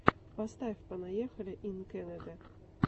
поставь понаехали ин кэнэдэ